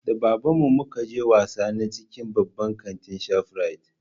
Da baban mu muka je wasa na cikin baban kanti na shafrit